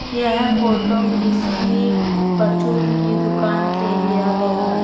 यह फोटो किसी परचून की दुकान से लिया गया है।